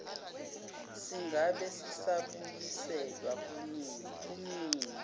singabe sisabuyiselwa kumnini